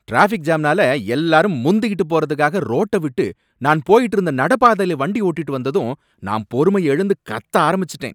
Traffic ஜாம்னால எல்லாரும் முந்திகிட்டு போறதுக்காக ரோட்ட விட்டுட்டு நான் போயிட்டு இருந்த நடைபாதையில வண்டிய ஓட்டிட்டு வந்ததும் நான் பொறுமைய இழந்து கத்த ஆரம்பிச்சிட்டேன்.